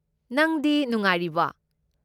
ꯅꯪꯗꯤ ꯅꯨꯡꯉꯥꯏꯔꯤꯕꯣ?